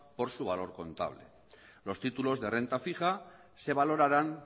por su valor contable los títulos de renta fija se valorarán